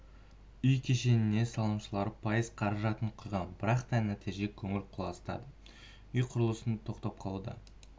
үй кешеніне салымшылар пайыз қаражатын құйған бірақ та нәтижесі көңіл құлазытады үй құрылысының тоқтап қалуы